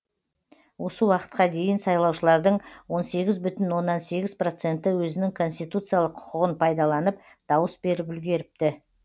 осы уақытқа дейін сайлаушылардың он сегіз бүтін оннан сегіз проценті өзінің конституциялық құқығын пайдаланып дауыс беріп үлгеріпті